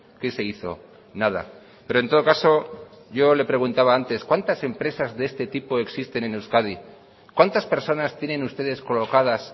qué se hizo nada pero en todo caso yo le preguntaba antes cuántas empresas de este tipo existen en euskadi cuántas personas tienen ustedes colocadas